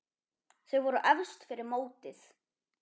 Þau voru efst fyrir mótið.